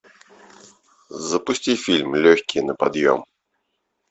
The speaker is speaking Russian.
запусти фильм легкие на подъем